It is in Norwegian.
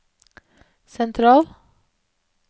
sentral